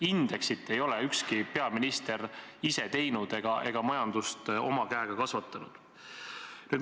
Indeksit ei ole ükski peaminister ise teinud ega majandust oma käega kasvatanud.